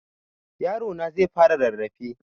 Yarona zai fara rarrafe.